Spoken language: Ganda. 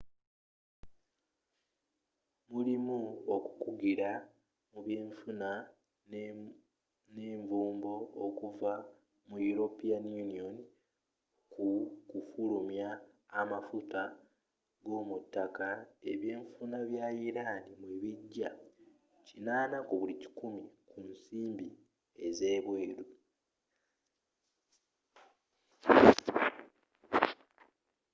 mulimu okukugira mu byenfuna ne nvumbo okuva mu european union ku kufulumya amafuta g'omu ttaka ebyenfuna bya iran mwe bijja 80% ku nsimbi ez'ebweru